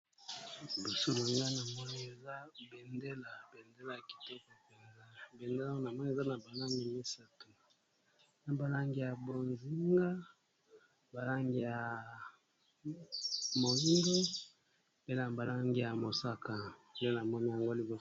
Boso nanga namoni eza bendela ya kiteko mpenza bendela ngo namoni eza na ba langi misato na ba langi ya bonzinga, ba langi ya moyindo, pe pe na ba langi ya mosaka, nde namoni yango liboso.